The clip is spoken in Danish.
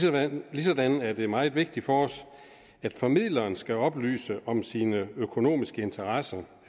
ligesådan er det meget vigtigt for os at formidleren skal oplyse om sine økonomiske interesser